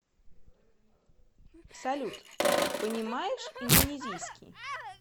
салют понимаешь индонезийский